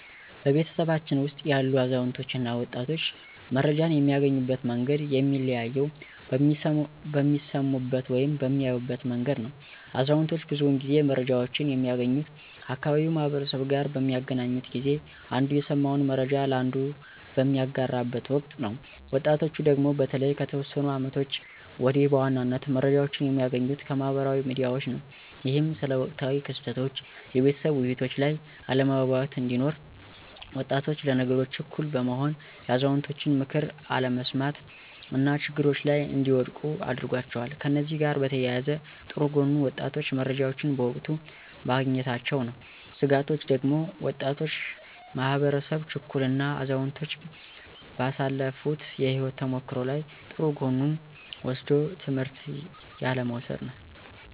በቤተሰባችን ውስጥ ያሉ አዛውንቶች እና ወጣቶች መረጃን የሚያገኙበት መንገድ የሚለያየው በሚሰሙበት ወይም በሚያዩበት መንገድ ነው። አዛውንቶች ብዙውን ጊዜ መረጃወችን የሚያገኙት ከአካባቢው ማህበረሰብ ጋር በሚገናኙበት ጊዜ አንዱ የሰማውን መረጃ ለአንዱ በሚያጋራበት ወቅት ነው። ወጣቶቹ ደግሞ በተለይ ከተወሰኑ አመታቶች ወዲህ በዋናነት መረጃዎችን የሚያገኙት ከማህበራዊ ሚዲያዎች ነው። ይህም ስለ ወቅታዊ ክስተቶች የቤተሰብ ውይይቶች ላይ አለመግባባት እንዲኖር፤ ወጣቶች ለነገሮች ችኩል በመሆን የአዛውንቶችን ምክር አለመስማት እና ችግሮች ላይ እንዲወድቁ አድርጓቸዋል። ከእነዚህ ጋር በተያያዘ ጥሩ ጎኑ ወጣቶቹ መረጃዎችን በወቅቱ ማግኘታቸው ነው። ስጋቶቹ ደግሞ ወጣቱ ማህበረሰብ ችኩል እና አዛውንቶች ባሳለፋት የህይወት ተሞክሮ ላይ ጥሩ ጎኑን ወስዶ ትምህርት ያለ መውሰድ ነው።